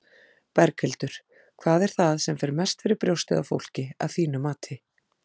Berghildur: Hvað er það sem mest fer fyrir brjóstið á fólki, að þínu mati?